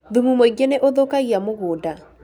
Thumu mũingĩ nĩ ũthũkagia mũgũnda